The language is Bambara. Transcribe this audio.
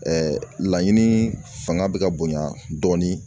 laɲini fanga bɛ ka bonya dɔɔnin